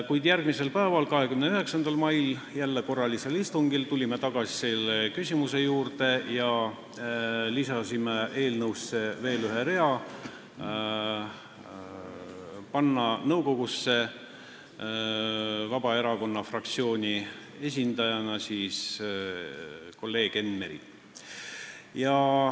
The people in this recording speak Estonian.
Kuid järgmisel päeval, 29. mail, jälle korralisel istungil, tulime selle küsimuse juurde tagasi ja lisasime eelnõusse veel ühe rea, mille kohaselt nimetatakse Hasartmängumaksu Nõukogu liikmeks Vabaerakonna fraktsiooni esindajana kolleeg Enn Meri.